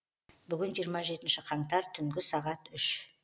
бүгін жиырма жетінші қаңтар түнгі сағат үш